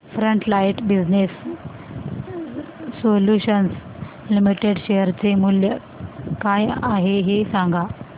frontline Business Solutions Limited share चे मूल्य काय आहे हे सांगा